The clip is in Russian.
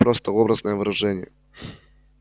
просто образное выражение